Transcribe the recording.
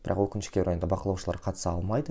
бірақ өкінішке орай онда бақылаушылар қатыса алмайды